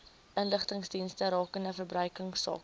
inligtingsdienste rakende verbruikersake